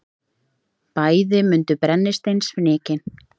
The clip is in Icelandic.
Bæði mundu brennisteinsfnykinn.